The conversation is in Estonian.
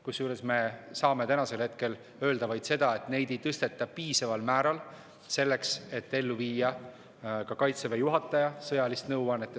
Kusjuures me saame täna öelda vaid seda, et neid ei tõsteta piisaval määral selleks, et ellu viia ka Kaitseväe juhataja sõjalist nõuannet.